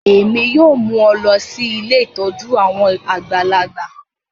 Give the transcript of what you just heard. Èmi yoo mu ọ lọ si ilé ìtójú àwon àgbàlagbà